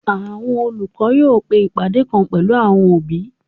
Àwọn olùkọ́ náà yóò pe ìpàdé kan pẹ̀lú àwọn òbí